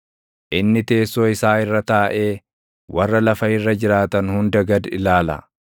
inni teessoo isaa irra taaʼee, warra lafa irra jiraatan hunda gad ilaala;